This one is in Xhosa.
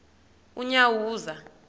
unyawuza